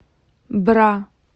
бра